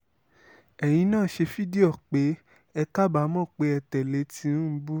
ẹ̀yin náà ṣe fídíò pé ẹ kábàámọ̀ pè ẹ́ tẹ́lẹ tinubu